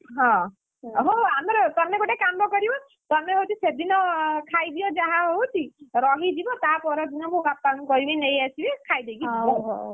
ହଁ, ଆମର ତମେ ଗୋଟେ କାମ କରିବ ତମେ ହଉଛି ସେଦିନ ଖାଇଦିଅ ଯାହା ହଉଛି, ରହିଯିବ ତା ପରଦିନ ମୋ ବାପାଙ୍କୁ କହିବି ନେଇ ଆସିବେ ଖାଇଦେଇକି ଯିବ। ହେଲା!